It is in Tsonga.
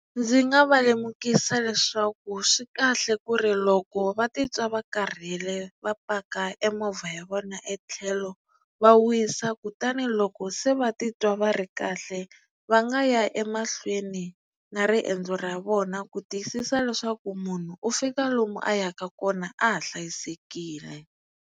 Ndzi nga va lemukisa leswaku swi kahle ku ri loko va titwa va karhele va paka e movha ya vona e tlhelo va wisa kutani loko se va titwa va ri kahle va nga ya emahlweni na riendzo ra vona ku tiyisisa leswaku munhu u fika lomu a yaka kona a ha hlayisekile.